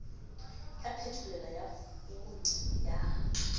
ya phetolelo ya founu ya